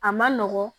A man nɔgɔn